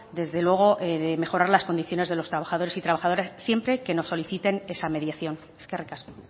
desde luego de mejorar las condiciones de los trabajadores y trabajadoras siempre que nos soliciten esa mediación eskerrik asko